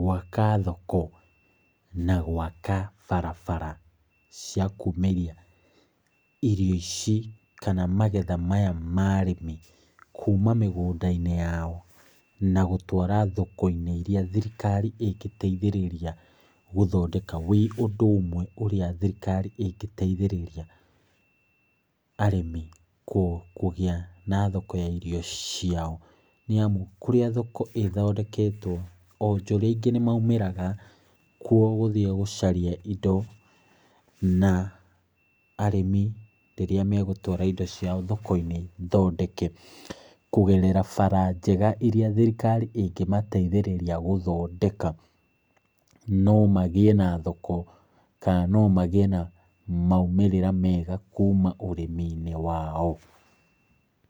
gwaka thoko, na gwaka barabara cia kumĩria, irio ici, kana magetha maya ma arĩmi, kuma mĩgũnda-inĩ yao, na gũtwara thoko-inĩ irĩa thirikari ĩngĩteithĩrĩria gũthondeka, wĩ ũndũ ũmwe ũrĩa thirikari ĩngĩteithĩrĩria, arĩmi kũgĩa na thoko ya irio ciao. Nĩ amu kũrĩa thoko ĩthondeketwo, onjoria aingĩ nĩ maumĩraga kuo gũthiĩ gũcaria indo, na arĩmi rĩrĩa megũtwara indo ciao thoko-inĩ thondeke, kũgerera bara njega irĩa thirikari ĩngĩmateithĩrĩria gũthondeka, no magĩe na thoko, ka no magĩe na maumĩrĩra mega kuma ũrĩmi-inĩ wao.